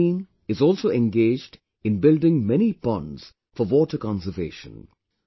This team is also engaged in building many ponds for water conservation